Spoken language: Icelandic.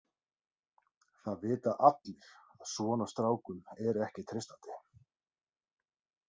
Það vita allir að svona strákum er ekki treystandi.